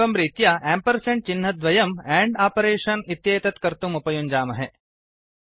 एवं रीत्या एम्पर्सण्ड् चिह्नद्वयं आण्ड् आपरेषन् इत्येतत् कर्तुम् उपयुञ्जामहे